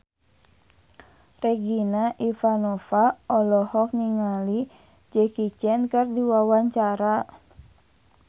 Regina Ivanova olohok ningali Jackie Chan keur diwawancara